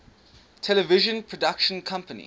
television production company